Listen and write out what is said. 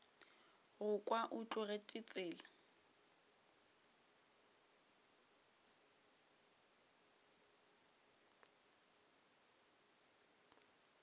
go kwa o tlogetše tsela